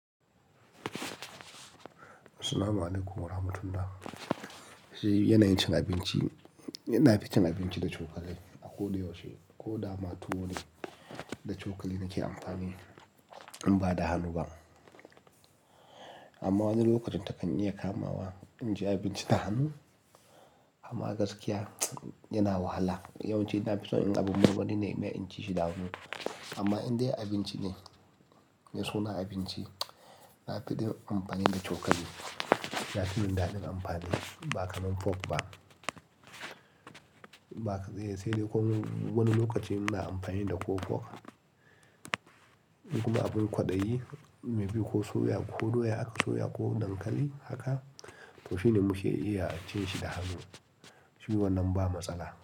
Assalamu alaikum, warahmatullah yana yin cin abinci-- yana ficin abinci da cokali a ko da yaushe, ko dama tuwo ne, da cokali nake amfani in ba da hannu ba. Amma wani lokacin takan iya kama wa inji abinci da hannu, amma gaskiya yana wahala. Yawanci nafi son in abun abun marmari ne in mayar in cishi da hannu. Amma in dai abinci ne, me suna abinci, nafi de amfani da cokali. Yafii min dadi amfani, ba kaman fork ba. Ba ka-- sai dai ko wani lokaci muna amfani da ko fork. In kuma abin kwaɗayi, maybe ko soya, ko doya, aka soya ko dankali haka, to shine muke iya cin shi da hannu. Shi wannan ba matsala.